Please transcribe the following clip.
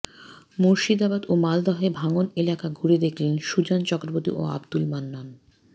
মুর্শিদাবাদ ও মালদহে ভাঙন এলাকা ঘুরে দেখলেন সুজন চক্রবর্তী ও আবদুল মান্নান